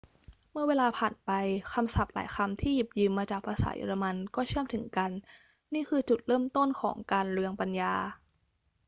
เมื่อเวลาผ่านไป คำศัพท์หลายคำที่หยิบยืมมาจากภาษาเยอรมันก็เชื่อมถึงกัน นี่คือจุดเริ่มต้นของการเรืองปัญญา